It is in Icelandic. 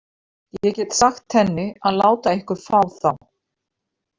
Ég get sagt henni að láta ykkur fá þá.